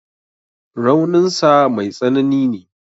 Raunin sa mai tsanani ne.